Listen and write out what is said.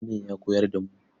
Malamin ya koyar da mu.